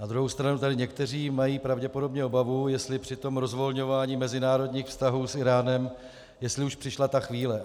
Na druhou stranu tady někteří mají pravděpodobně obavu, jestli při tom rozvolňování mezinárodních vztahů s Íránem, jestli už přišla ta chvíle.